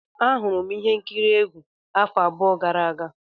Ahụrụ m ihe nkiri egwu afọ abụọ gara aga.